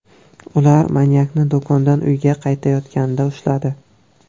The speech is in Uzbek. Ular manyakni do‘kondan uyga qaytayotganida ushladi.